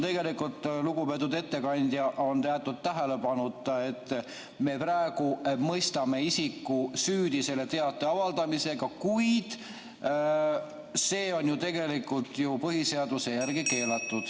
Lugupeetud ettekandja, siin on tegelikult jäetud tähelepanuta see, et praegu me mõistame isiku süüdi selle teate avaldamisega, kuid see on ju põhiseaduse järgi keelatud.